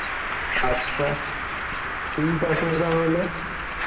আচ্ছা, ঠিক আছে তাহলে,